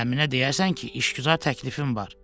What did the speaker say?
Əminə deyərsən ki, işgüzar təklifin var.